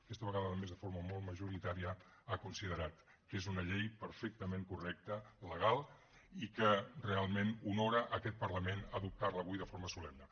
aquesta vegada a més de forma molt majoritària ha considerat que és una llei perfectament correcta legal i que realment honora aquet parlament adoptar la avui de forma solemne